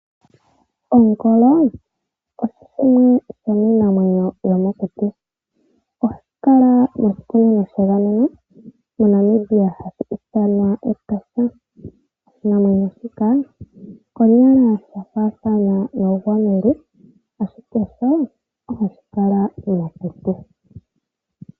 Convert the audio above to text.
Ongolo osho shimwe shomiinamwenyo yomokuti. Ohashi kala moshikunino shegameno moNamibia hashi ithanwa Etosha. Oshinamwenyo shika konyala yafaathana noogwamululu ashike sho ohashi kala mokuti.